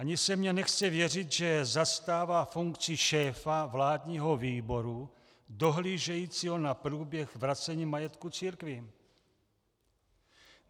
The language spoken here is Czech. Ani se mně nechce věřit, že zastává funkci šéfa vládního výboru dohlížejícího na průběh vracení majetku církvím.